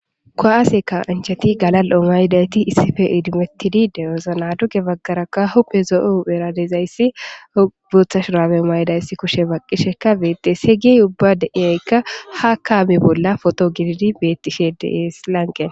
ko7aaseka ancheti galal7o maydayti issife idimettidi dewozana duge baggaraka hupe zo7o eradezayssi buotha shuraame maydayssi kushe baqqishekka beetdes heygey ubba deiyaykka ha kaami bolla foto gididi bettishe dees lanqe